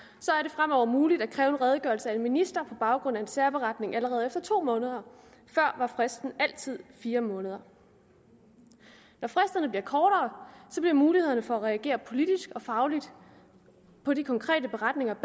fremover muligt at kræve en redegørelse af en minister på baggrund af en særberetning allerede efter to måneder før var fristen altid fire måneder når fristerne bliver kortere bliver mulighederne for at reagere politisk og fagligt på de konkrete beretninger